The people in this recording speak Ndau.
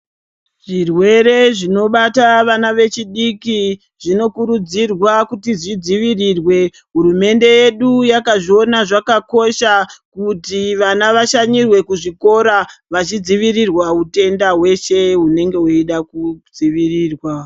Zvirwere zvinobata vana vechidiki zvinokurudzirwa kuti zvidzivirirwe. Hurumende yedu yakazviona zvakakosha kuti vana vashanyirwe kuzvikora vachidzivirirwa hutenda hweshe hunonga hweida kudzivirirwa.